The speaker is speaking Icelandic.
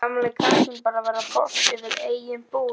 Gamli kappinn bara að verða boss yfir eigin búð.